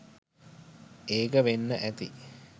ඒක වෙන්න ඇති